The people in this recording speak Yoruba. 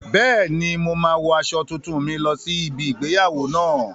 Bẹ́ẹ̀ni, mo máa wo aṣọ tuntun mi lọ sí ibi igbéyàwó náà